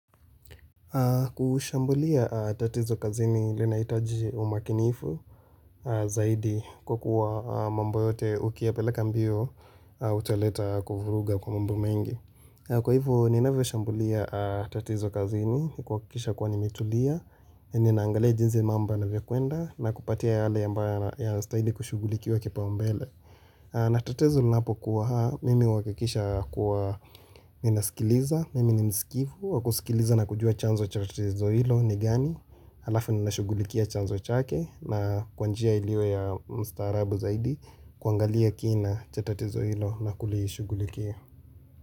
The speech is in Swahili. Kushambulia tatizo kazini linahitaji umakinifu zaidi kwa kuwa mambo yote ukiyapeleka mbio utaleta kuvuruga kwa mambo mengi. Kwa hivyo, ninavyo shambulia tatizo kazini, huhakikisha kwa nimetulia, ninaangalia jinsi mambo yanavyokwenda, na kupatia yale ambayo yanastahili kushughulikiwa kipaumbele. Na tatizo linapo kuwa haa, mimi huhakikisha kuwa ninasikiliza, mimi ni mskivu, wakusikiliza na kujua chanzo cha tatizo hilo ni gani, alafu ninashughulikia chanzo chake na kwa njia iliyo ya mstarabu zaidi kuangalia kina cha tatizo hilo na kulishughulikia.